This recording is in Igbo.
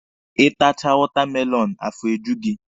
Ị tachaa wọtamelọnụ, afọ eju gị.